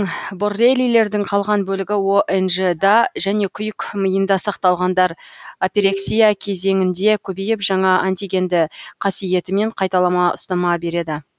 боррелилердің қалған бөлігі онж да және күйік миында сақталғандар апирексия кезеңінде көбейіп жаңа антигенді қасиетімен қайталама ұстама береді